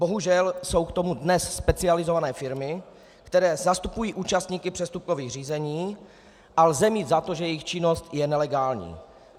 Bohužel jsou k tomu dnes specializované firmy, které zastupují účastníky přestupkových řízení, a lze mít za to, že jejich činnost je nelegální.